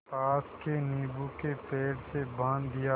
पास के नीबू के पेड़ से बाँध दिया